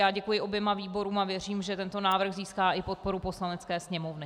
Já děkuji oběma výborům a věřím, že tento návrh získá i podporu Poslanecké sněmovny.